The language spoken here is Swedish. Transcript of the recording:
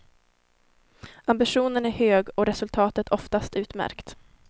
Ambitionen är hög och resultatet oftast utmärkt.